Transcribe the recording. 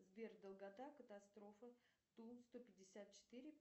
сбер долгота катастрофы ту сто пятьдесят четыре